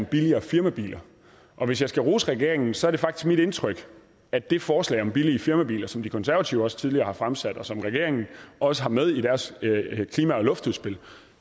billigere firmabiler og hvis jeg skal rose regeringen så er det faktisk mit indtryk at det forslag om billige firmabiler som de konservative også tidligere har fremsat og som regeringen også har med i deres klima og luftudspil